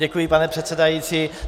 Děkuji, pane předsedající.